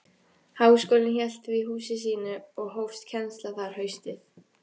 Háskólinn hélt því húsi sínu, og hófst kennsla þar haustið